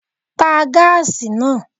Pa gaasi naa!